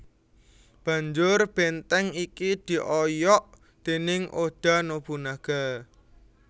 Banjur benteng iki dioyok déning Oda Nobunaga